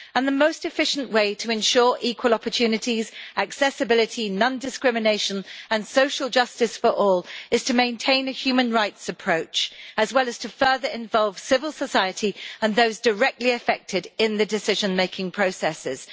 The most efficient way to ensure equal opportunities, accessibility, non discrimination and social justice for all is to maintain a human rights approach, as well as to further involve civil society and those directly affected in the decision-making processes.